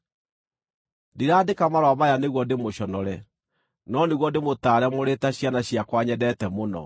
Ndiraandĩka marũa maya nĩguo ndĩmũconore, no nĩguo ndĩmũtaare mũrĩ ta ciana ciakwa nyendete mũno.